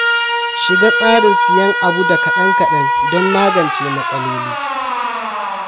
Shiga tsarin siyan abu da kaɗan-kaɗan don magance matsaloli.